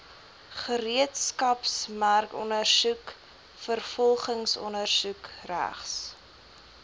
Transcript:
gereedskapsmerkondersoek vervolgingsondersoek regs